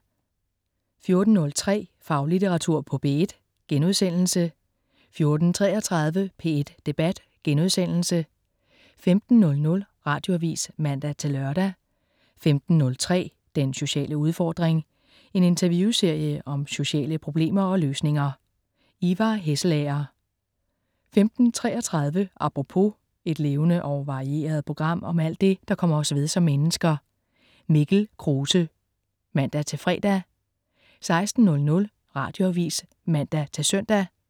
14.03 Faglitteratur på P1* 14.33 P1 Debat* 15.00 Radioavis (man-lør) 15.03 Den sociale udfordring. En interviewserie om sociale problemer og løsninger. Ivar Hesselager 15.33 Apropos. Et levende og varieret program om alt det, der kommer os ved som mennesker. Mikkel Krause (man-fre) 16.00 Radioavis (man-søn)